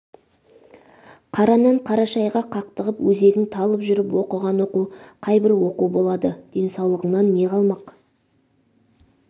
қара нан қара шайға қақтығып өзегің талып жүріп оқыған оқу қайбір оқу болады денсаулығыңнан не қалмақ